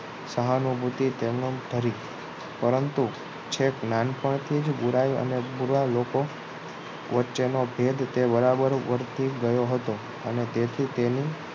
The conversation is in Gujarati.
સહાનુભૂતિ તમામ કરી પરંતુ છેક નાનપણથી જ બુરાઈ અને બુરા લોકો વચ્ચેનો ભેદ તે બરાબર ઓળખી ગયો હતો અને તેથી તેને